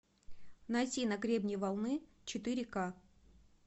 найти на гребне волны четыре ка